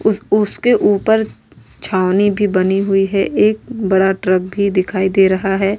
उस उसके ऊपर छावनी भी बनी हुई है एक बड़ा ट्रक भी दिखाई दे रहा है।